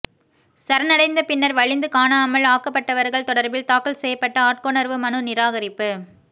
சரணடைந்த பின்னர் வலிந்து காணாமல் ஆக்கப்பட்டவர்கள் தொடர்பில் தாக்கல் செய்யப்பட்ட ஆட்கொணர்வு மனு நிராகரிப்பு